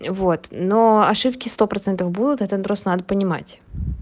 вот но ошибки сто процентов будут это просто надо понимать